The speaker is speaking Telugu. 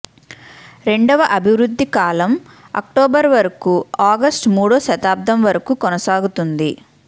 రెండవ అభివృద్ధి కాలం అక్టోబర్ వరకు ఆగస్టు మూడో దశాబ్దం వరకు కొనసాగుతుంది